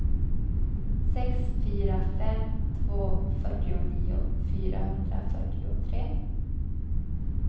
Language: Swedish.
sex fyra fem två fyrtionio fyrahundrafyrtiotre